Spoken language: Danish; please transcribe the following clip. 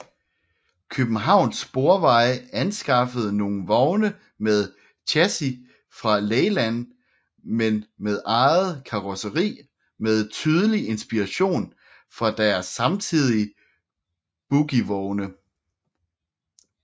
Københavns Sporveje anskaffede nogle vogne med chassis fra Leyland men med eget karosseri med tydelig inspiration fra deres samtidige bogievogne